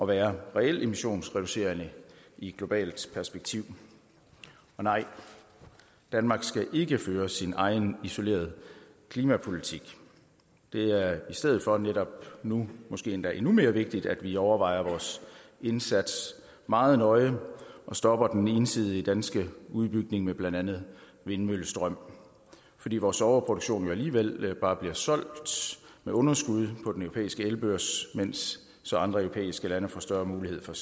være reelt emissionsreducerende i et globalt perspektiv og nej danmark skal ikke føre sin egen isolerede klimapolitik det er i stedet for netop nu måske endda endnu mere vigtigt at vi overvejer vores indsats meget nøje og stopper den ensidige danske udbygning med blandt andet vindmøllestrøm fordi vores overproduktion jo alligevel bare bliver solgt med underskud på den europæiske elbørs så andre europæiske lande får større mulighed for